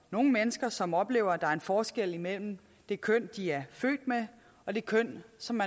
nogle mennesker som oplever at der er en forskel mellem det køn de er født med og det køn som